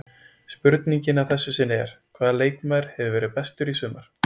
Spurningin að þessu sinni er: Hvaða leikmaður hefur verið bestur í sumar?